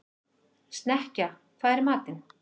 Snekkja, hvað er í matinn?